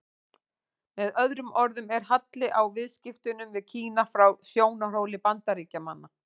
Með öðrum orðum er halli á viðskiptunum við Kína frá sjónarhóli Bandaríkjamanna.